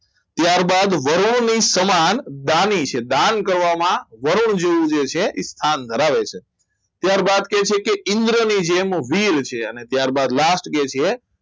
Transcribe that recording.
ત્યારબાદ વર્ણોની સામાન દાની છે. દાન કરવામાં વરુણ જેવું જે છે સ્થાન ધરાવે છે ત્યારબાદ કહે છે કે ઈન્દ્રની જેમ વીર છે અને ત્યારબાદ last કે છે